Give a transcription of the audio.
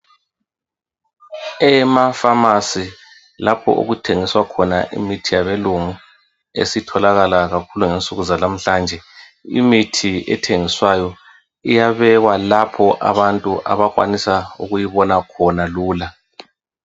Emafamasi lapho okuthengiswa khona imithi yabelungu esitholakala kakhulu ngensuku zalamhlanje imithi ethengiswayo iyabhekwa lapho abantu abakwanisa ukuyibona khona lula.